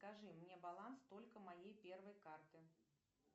покажи мне баланс только моей первой карты